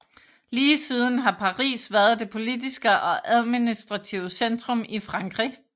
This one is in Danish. Lige siden har Paris været det politiske og administrative centrum i Frankrig